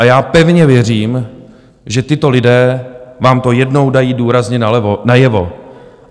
A já pevně věřím, že tito lidé vám to jednou dají důrazně najevo.